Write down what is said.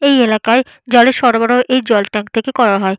এই এলাকায় জলের সরবরাহ এই জল ট্যাঙ্ক থেকে করা হয়।